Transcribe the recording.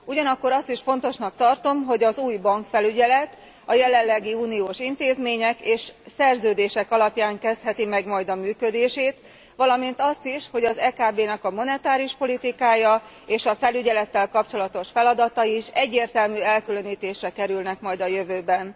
Ugyanakkor azt is fontosnak tartom, hogy az új bankfelügyelet a jelenlegi uniós intézmények és szerződések alapján kezdheti meg majd a működését, valamint azt is, hogy az EKB monetáris politikája és a felügyelettel kapcsolatos feladatai is egyértelmű elkülönítésre kerülnek majd a jövőben.